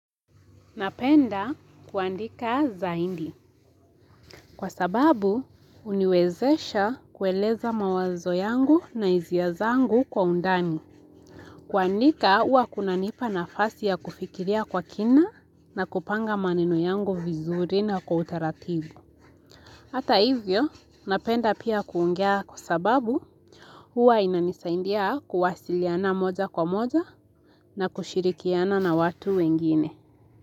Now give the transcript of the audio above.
Napenda kuandika zaindi. Kwa sababu, huniwezesha kueleza mawazo yangu na izia zangu kwa undani. Kuandika, ua kuna nipa na fasi ya kufikiria kwa kina na kupanga maneno yangu vizuri na kwa utaratibu. Hata hivyo, napenda pia kuongea kwa sababu, ua inanisaindia kuwasiliana moja kwa moja na kushirikiana na watu wengine.